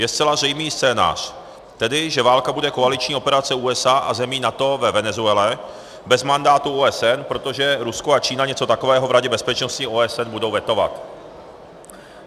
Je zcela zřejmý scénář, tedy že válka bude koaliční operace USA a zemí NATO ve Venezuele, bez mandátu OSN, protože Rusko a Čína něco takového v Radě bezpečnosti OSN budou vetovat.